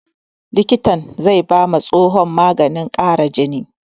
Likitan zai ba ma tsohon maganin ƙara jini